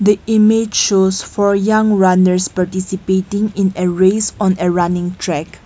the image shows four young runners participating in a race on a running track.